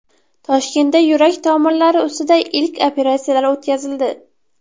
Toshkentda yurak tomirlari ustida ilk operatsiyalar o‘tkazildi.